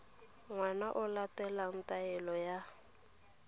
ngwana o latela taelo ya